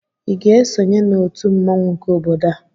ị ga-esonye na otu mmawụ nke obodo a?